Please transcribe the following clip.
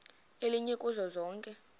elinye kuzo zonke